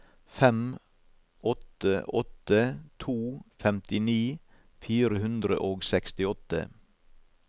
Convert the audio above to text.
fem åtte åtte to femtini fire hundre og sekstiåtte